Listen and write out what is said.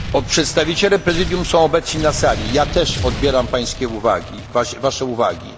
Przedstawiciele Prezydium są obecni na sali, ja też odbieram państwa uwagi.